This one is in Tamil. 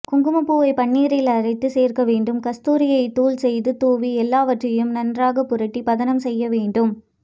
குங்குமப்பூவை பன்னீரில் அரைத்து சேர்க்க வேண்டும் கஸ்தூரியை தூள் செய்து தூவி எல்லாவற்றையும் நன்றாக புரட்டி பதனம் செய்ய வேண்டும்